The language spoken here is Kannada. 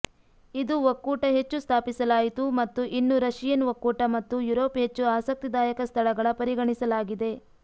ಇದು ಒಕ್ಕೂಟ ಹೆಚ್ಚು ಸ್ಥಾಪಿಸಲಾಯಿತು ಮತ್ತು ಇನ್ನೂ ರಶಿಯನ್ ಒಕ್ಕೂಟ ಮತ್ತು ಯುರೋಪ್ ಹೆಚ್ಚು ಆಸಕ್ತಿದಾಯಕ ಸ್ಥಳಗಳ ಪರಿಗಣಿಸಲಾಗಿದೆ